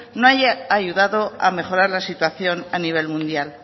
no han ayudado a mejorar la situación a nivel mundial